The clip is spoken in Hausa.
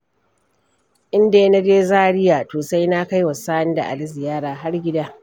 In dai naje Zaria, to sai na kaiwa Sani da Ali ziyara har gida.